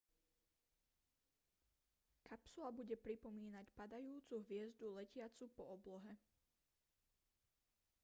kapsula bude pripomínať padajúcu hviezdu letiacu po oblohe